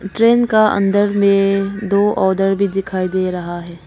Train का अंदर में दो आउटडोर भी दिखाई दे रहा है।